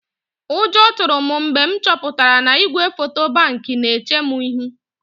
Ụjọ tụrụ m mgbe m chọpụtara na igwefoto Bank na-eche m ihu.